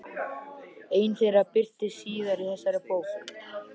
Ein þeirra birtist síðar í þessari bók.